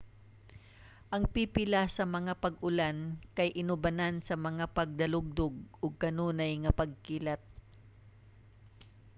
ang pipila sa mga pag-ulan kay inubanan sa mga pagdalugdog ug kanunay nga pagkilat